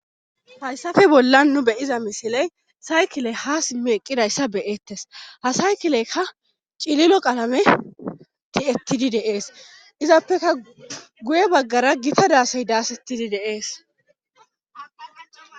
Hayssafe bollan nu beyiza misiley saykile ha simmi eqqidayssa beyettes ha saykileykka cililo qalame ti7ettidi deees izappeka guye baggara gita daasey daasettidi deees.